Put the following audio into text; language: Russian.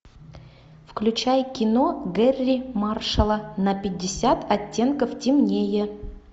включай кино гэрри маршалла на пятьдесят оттенков темнее